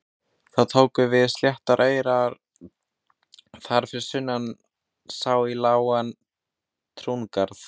Þá tóku við sléttir aurar og þar fyrir sunnan sá í lágan túngarð.